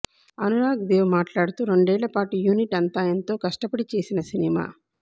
అనురాగ్ దేవ్ మాట్లాడుతూ రెండేళ్ల పాటు యూనిట్ అంతా ఎంతో కష్టపడి చేసిన సినిమా